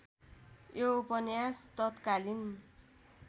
यो उपन्यास तत्कालीन